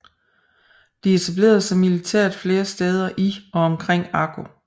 De etablerede sig militært flere steder i og omkring Akko